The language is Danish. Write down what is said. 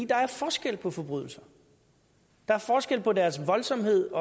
der er forskel på forbrydelser der er forskel på deres voldsomhed